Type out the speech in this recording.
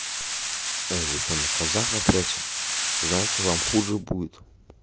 эй вы что на казаха прёте знаете вам хуже будет